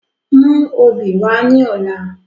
Mú obì wá ní ọ̀la